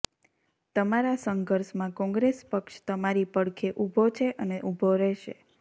તમારા સંઘર્ષમાં કોંગ્રેસ પક્ષ તમારી પડખે ઊભો છે અને ઊભો રહેશે